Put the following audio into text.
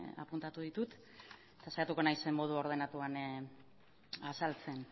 apuntatu ditut eta saiatuko naiz modu ordenatuan azaltzen